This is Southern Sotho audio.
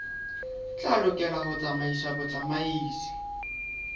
tla lokela ho tsamaisa botsamaisi